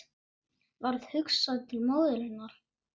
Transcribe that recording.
Varð hugsað til móður hennar.